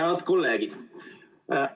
Head kolleegid!